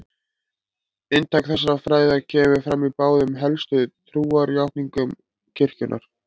Inntak þessara fræða kemur fram í báðum helstu trúarjátningum kirkjunnar.